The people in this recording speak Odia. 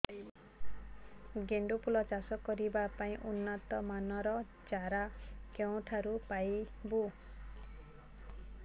ଗେଣ୍ଡୁ ଫୁଲ ଚାଷ କରିବା ପାଇଁ ଉନ୍ନତ ମାନର ଚାରା କେଉଁଠାରୁ ପାଇବୁ